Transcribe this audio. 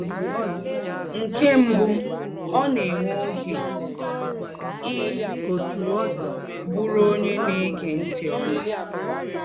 Nkè mbụ́, ọ̀ na-èwè́ ògé í bùrù ònyé na-égé ntị̀ ọ́mà.